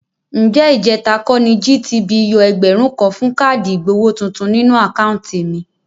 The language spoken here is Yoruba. Ǹjẹ́ ìjẹ̀ta kọ́ ni GTB yọ ẹgbẹ̀rún kan fún káàdì ìgbowó tuntun nínú àkáùntì mi?